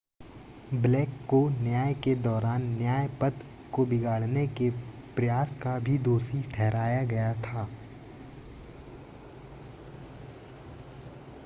black को न्याय के दौरान न्याय-पथ को बिगाड़ने के प्रयास का भी दोषी ठहराया गया था